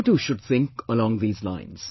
You too should think along these lines